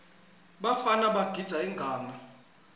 bafana bagidza ingadla